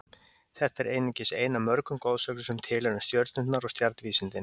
Þetta er einungis ein af mörgum goðsögnum sem til eru um stjörnurnar og stjarnvísindin.